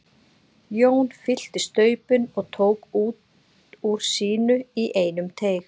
Jón fyllti staupin og tók út úr sínu í einum teyg.